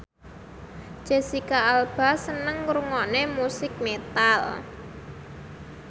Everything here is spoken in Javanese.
Jesicca Alba seneng ngrungokne musik metal